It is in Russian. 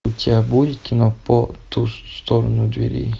у тебя будет кино по ту сторону дверей